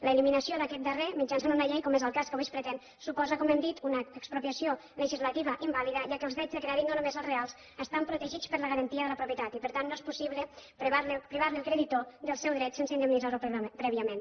l’eliminació d’aquest darrer mitjançant una llei com és el cas que avui es pretén suposa com hem dit una expropiació legislativa invàlida ja que els drets de crèdit no només els reals estan protegits per la garantia de la propietat i per tant no és possible privar el creditor del seu dret sense indemnitzar lo prèviament